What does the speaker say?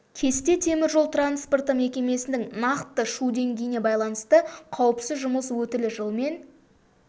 кесте темір жол транспорты мекемесінің нақты шу деңгейіне байланысты қауіпсіз жұмыс өтілі жылмен